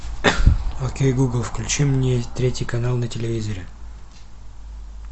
окей гугл включи мне третий канал на телевизоре